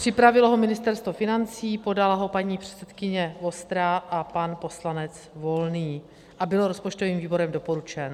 Připravilo ho Ministerstvo financí, podala ho paní předsedkyně Vostrá a pan poslanec Volný a byl rozpočtovým výborem doporučen.